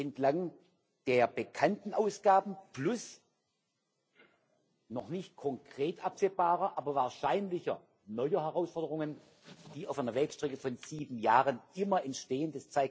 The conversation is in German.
entlang der bekannten Ausgaben plus noch nicht konkret absehbarer, aber wahrscheinlicher neuer Herausforderungen, die auf einer Wegstrecke von sieben Jahren immer entstehen.